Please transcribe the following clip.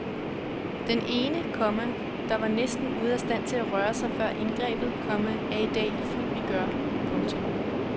Den ene, komma der var næsten ude af stand til at røre sig før indgrebet, komma er i dag i fuld vigør. punktum